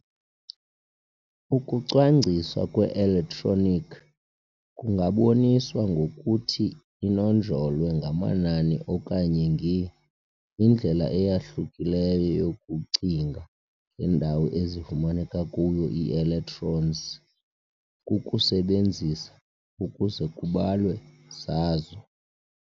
Ukucwangciswa kwe-electronic kungaboniswa ngokuthi inonjolwe ngamanani okanye nge]. indlela eyahlukileyo yokucinga ngendawo ezifumaneka kuyo ii-electrons kukusebenzisa ukuze kubalwe zazo,